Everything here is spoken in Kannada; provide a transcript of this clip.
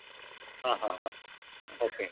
ಹಾ ಹಾ ಹಾ okay.